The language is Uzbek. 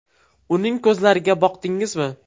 Uning ko‘zlariga boqdingizmi?